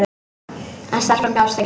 En stelpan gafst ekki upp.